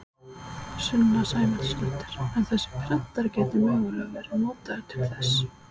Sunna Sæmundsdóttir: En þessi prentari gæti mögulega verið notaður til þess?